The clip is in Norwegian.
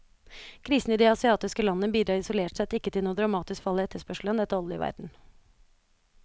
Krisen i de asiatiske landene bidrar isolert sett ikke til noe dramatisk fall i etterspørselen etter olje i verden.